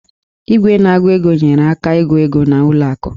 Igwe na-agụ ego nyeere aka ịgụ ego n'ụlọ akụ